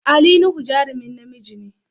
Ali Nuhu jarumin namiji ne.